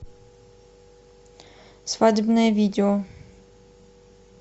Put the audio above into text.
свадебное видео